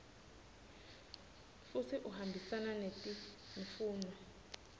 futsi uhambisana netimfuno